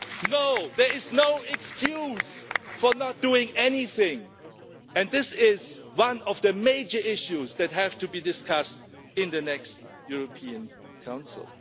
No, there is no excuse for not doing anything and this is one of the major issues that have to be discussed in the next European Council.